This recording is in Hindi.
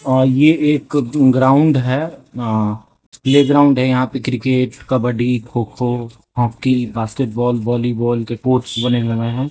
और ये एक ग्राउंड है प्ले ग्राउंड है यहां पे cricket kabaddi kho kho hockey basketball volleyball के कोर्ट्स बने हुए है।